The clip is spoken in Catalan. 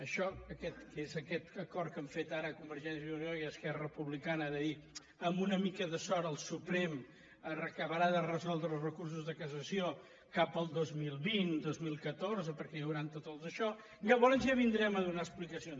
això que és aquest acord que han fet ara convergència i unió i esquerra republicana de dir amb una mica de sort el suprem acabarà de resoldre els recursos de cassació cap al dos mil vint dos mil vint quatre perquè hi hauran tots els daixò llavors ja vindrem a donar explicacions